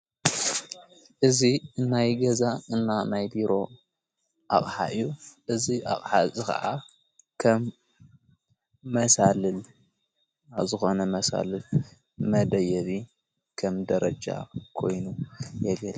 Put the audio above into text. እዚ እናይ ገዛ እና ናይ ቢሮ ኣቕሓ'ዩ እዚ ኣቅሓ እዚ ኸዓ ኸም መሣልል ኣብ ዝኾነ መሣልል መደየቢ ከም ደረጃ ኮይኑ የገልግል።